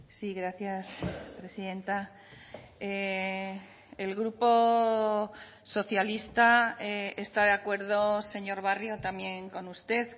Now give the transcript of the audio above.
sí gracias presidenta el grupo socialista está de acuerdo señor barrio también con usted